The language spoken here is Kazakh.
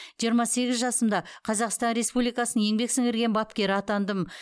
жиырма сегіз жасымда қазақстан республикасының еңбек сіңірген бапкері атандым